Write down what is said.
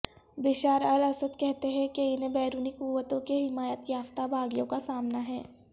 Bashar al Assad کہتے ہیں کہ انھیں بیرونی قوتوں کے حمایت یافتہ باغیوں کا سامنا ہے